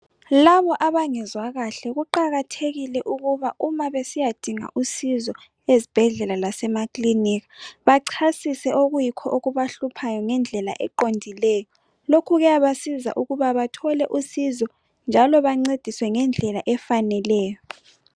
Labo abangezwa kahle kuqakathekile ukuba uma besiyadinga usizo ezibhedlela lasemakliniki bachasise okuyikho okubahluphayo ngendlela eqondileyo lokhu kuyabasiza ukuba bathole usizo njalo bancediswa ngendlela efaneleyo